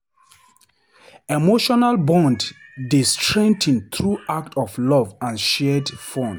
Emotional bonds dey strengthen through acts of love and shared fun.